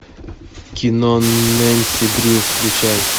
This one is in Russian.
кино нэнси дрю включай